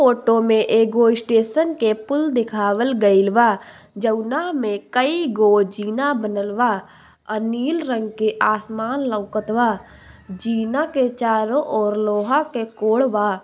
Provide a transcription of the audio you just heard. Photo में एगो station के पुल्ल देखावल गईल बा जौना में कई जो जीना बनल बा अ नील रंग के आसमान लउकत बा जीना के चारो और लोहा के कोढ़ बा।